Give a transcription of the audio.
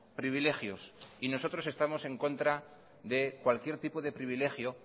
privilegios y nosotros estamos en contra de cualquier tipo de privilegio